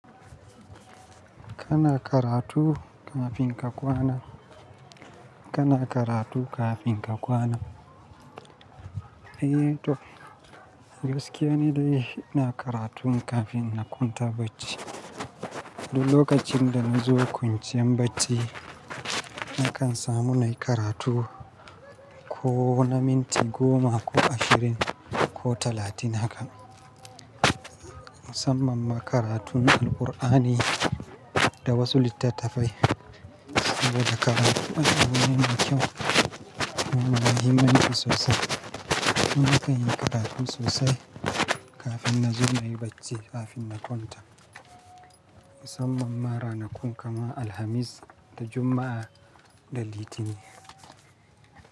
Kana karatu kafin ka kwana. Kana karatu kafin ka kwana. Eh to, gaskiya ni dai ina karatun kafin na kwanta bacci. Du lokacin da na zo kwanciyan bacci, nakan samu mai karatu ko na minti goma ko ashirin ko talatin hakan. Musamman ma karatun Alqur'ani da wasu littattafai saboda karatu makami yana kyau kuma yana muhimmanci sosai. Kuma nakayi karatun sosai kafin na zo nayi bacci kafin na kwanta. Musamman ma ranakun kamar Alhamis da Juma'a da Litinin.